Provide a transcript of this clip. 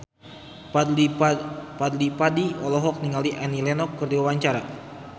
Fadly Padi olohok ningali Annie Lenox keur diwawancara